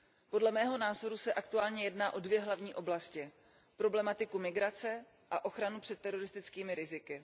Podle mého názoru se aktuálně jedná o dvě hlavní oblasti problematiku migrace a ochranu před teroristickými riziky.